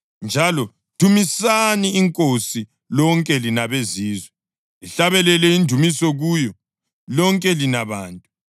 Njalo, “Dumisani iNkosi, lonke lina beZizwe, lihlabelele indumiso kuyo, lonke lina bantu.” + 15.11 AmaHubo 117.1